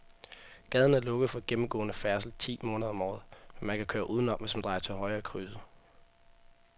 Gaden er lukket for gennemgående færdsel ti måneder om året, men man kan køre udenom, hvis man drejer til højre i krydset.